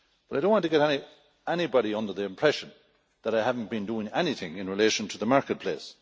I do not want to give anybody the impression that I have not been doing anything in relation to the marketplace.